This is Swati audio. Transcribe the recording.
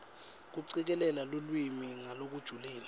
kucikelela lulwimi ngalokujulile